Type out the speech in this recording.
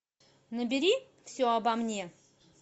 набери все обо мне